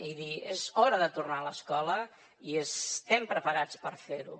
i dir és hora de tornar a l’escola i estem preparats per fer ho